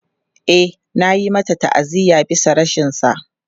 E, an yi masa ta'aziyya bisa rashinsa.